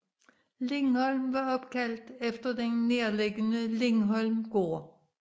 Lindholm var opkaldt efter den nærliggende Lindholm gård